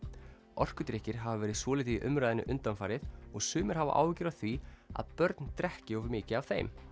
orkudrykkir hafa verið svolítið í umræðunni undanfarið og sumir hafa áhyggjur af því að börn drekki of mikið af þeim